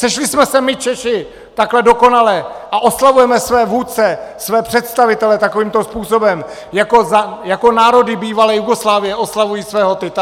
Sešli jsme se my Češi takhle dokonale a oslavujeme své vůdce, své představitele takovýmto způsobem, jako národy bývalé Jugoslávie oslavují svého Tita?